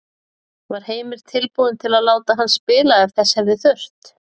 Var Heimir tilbúinn til að láta hann spila ef þess hefði þurft?